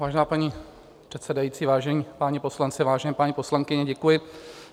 Vážená paní předsedající, vážení páni poslanci, vážené paní poslankyně, děkuji.